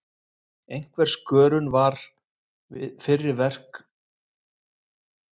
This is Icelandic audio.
Einhver skörun við fyrri verk var óhjákvæmileg, og bið ég lesendur velvirðingar á því.